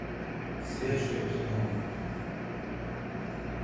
свежее кино